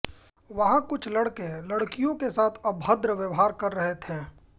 वहाँ कुछ लड़के लड़कियों के साथ अभद्र व्यवहार कर रहे थे